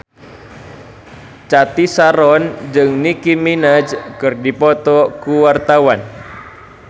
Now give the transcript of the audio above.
Cathy Sharon jeung Nicky Minaj keur dipoto ku wartawan